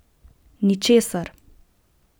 Ničesar!